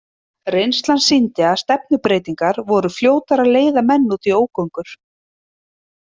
Reynslan sýndi að stefnubreytingar voru fljótar að leiða menn út í ógöngur.